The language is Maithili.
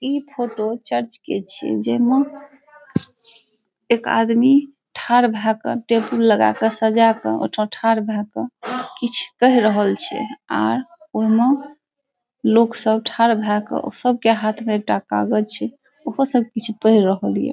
ई फोटो चर्च के छे जे में एक आदमी ठर भा कर टेबल लगा कर सजा का उ ठर भा कर किछ कह रहल छे और उ में लोग सब ठर भा कर सब के हाथ में एकटा कागज छे ऊपर सब कुछ पै रहलिओ।